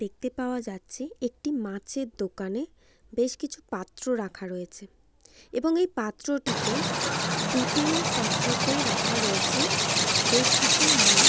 দেখতে পাওয়া যাচ্ছে একটি মাছের দোকানে বেশ কিছু পাত্র রাখা রয়েছে এবং এই পাত্রটিতে দুটি পাত্রতে রাখা রয়েছে বেশ কিছু মা--